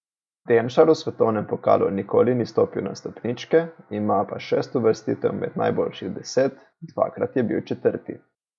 Demšar v svetovnem pokalu nikoli ni stopil na stopničke, ima pa šest uvrstitev med najboljših deset, dvakrat je bil četrti.